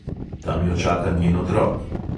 Tam jo čaka njen otrok.